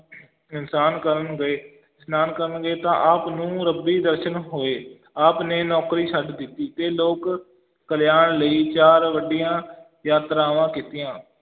ਇਸ਼ਨਾਨ ਕਰਨ ਗਏ ਇਸ਼ਨਾਨ ਕਰਨ ਗਏ ਤਾਂ ਆਪ ਨੂੰ ਰੱਬੀ ਦਰਸ਼ਨ ਹੋਏ ਆਪ ਨੇ ਨੌਕਰੀ ਛੱਡ ਦਿੱਤੀ ਤੇ ਲੋਕ ਕਲਿਆਣ ਲਈ ਚਾਰ ਵੱਡੀਆਂ ਯਾਤਰਾਵਾਂ ਕੀਤੀਆਂ